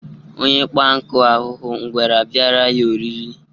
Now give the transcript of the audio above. Onye kpa nkụ ahụhụ ngwere abịara ya oriịrɨ